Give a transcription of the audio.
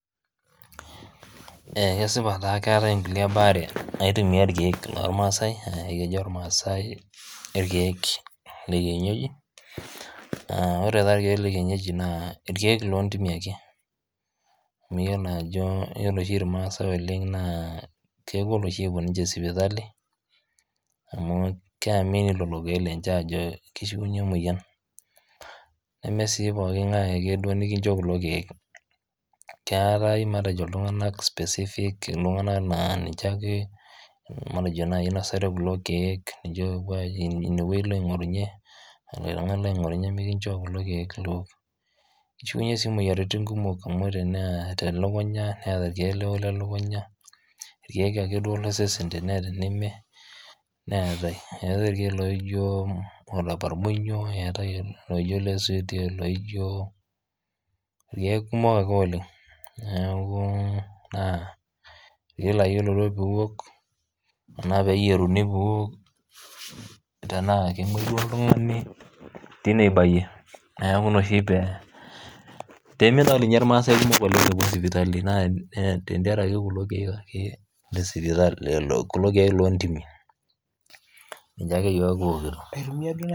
Kesipaa taa keatae nkule baare naitumiyaa irkeek lolmaasai aakejo ilmaasai ilkiek le kienyeji ore taa ilkiek lekienyeji naa ilkeek loo intimi ake niyiolo ajo iyolo oshi ilmaasae oleng naa kegol oshii epo ninche sipitali amu keamini lelo ilkeek lenhe ajoo keishiunye imoyian, nemee sii pooki ing'ae ake duo likincho kulo keek ,keatae matejo iltunganak ltunganak naa ninche ake matejo naii inosota ookulo keek ninche oopo ajing inye weji ilo aing'orunye mikincoo kulo keeek liok, eichiunye sii imoyiarritin kumok amu ore neeta lokunya neata nlkiek ake duo le osesen teneeta neme eatae ilkeek nijo oleparbolio, eate oshi loijo ilkeek kumok ake oleng, neaku naa iyolo ajo piiok anaa peeyeruni piiok tenaa tenimuju oltungani teine ibaiye, naaku ina oshi peemidal ninye ilmaasai kumok epo sipitalini tengaraki kulo keek ake loo intimi, ninche ake yook kiokuto